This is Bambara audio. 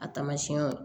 A tamasiɲɛw